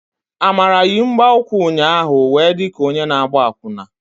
Amara yi mgbaukwu ụnyaahụ wee di ka onye na-agba akwụna.